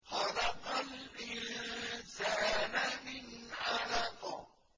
خَلَقَ الْإِنسَانَ مِنْ عَلَقٍ